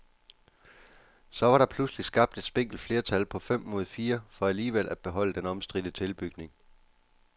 Så var der pludselig skabt et spinkelt flertal på fem mod fire for alligevel at beholde den omstridte tilbygning.